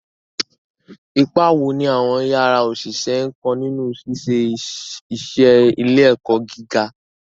Ipa wo ni àwọn yàrá òṣìṣẹ́ ń kó nínú ṣíṣe iṣẹ́ ilé-ẹ̀kọ́ gíga?